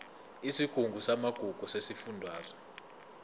isigungu samagugu sesifundazwe